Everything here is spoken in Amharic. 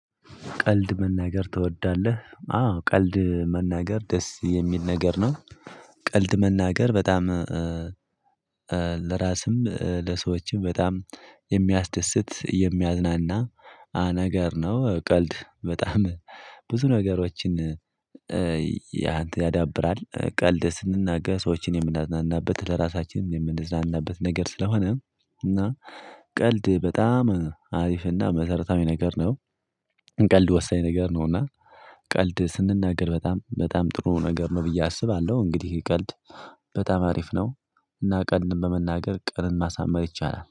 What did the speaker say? ቀልድ መናገር ትወዳለህ? አዎ ቀልድ መናገር ደስ የሚል ነገር ነው። ቀልድ መናገር በጣም ለራስም ለሰዎችም በጣም የሚያስደስት የሚያዝናና ነገር ነው። ቀልድ በጣም ብዙ ነገሮችን ያዳብራል። ቀልድ ስንናገር ሰዎችን የምናዝናናበት ለራሳችን የምንዝናናበት ነገር ስለሆነ እና ቀልድ በጣም አሪፍና መሰረታዊ ነገር ነው። ቀልድ ወሳኝ ነገር ነውና። ቀልድ ስንናገር በጣም በጣም ጥሩ ነገር ነው ብዬ አስባለሁ። እንግዲህ ቀልድ በጣም አሪፍ ነው። እና ቀልድን በመናገር ቀንን ማሳመር ይቻላል